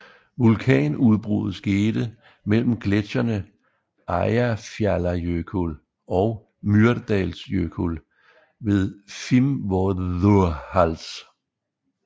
Vulkanudbruddet skete mellem gletsjerne Eyjafjallajökull og Mýrdalsjökull ved Fimmvörðuháls